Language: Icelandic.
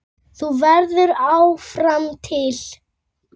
Þú verður áfram til.